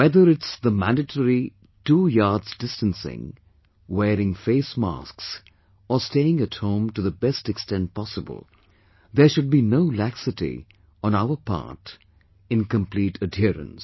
Whether it's the mandatory two yards distancing, wearing face masks or staying at home to the best extent possible, there should be no laxity on our part in complete adherence